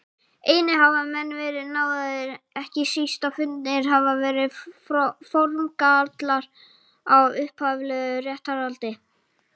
Einnig hafa menn verið náðaðir, ekki síst ef fundnir hafa verið formgallar á upphaflegu réttarhaldi.